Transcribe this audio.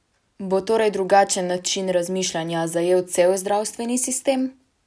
Bo torej drugačen način razmišljanja zajel cel zdravstveni sistem?